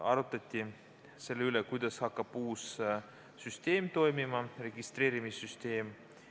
Arutleti veel selle üle, kuidas hakkab uus registreerimissüsteem toimima.